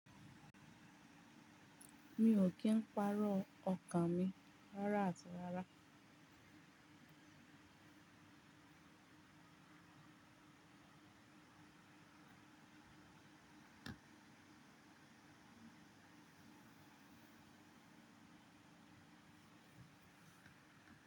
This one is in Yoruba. Mi ò kí ń pàrọ̀ ọkàn mi rárá àti rárá.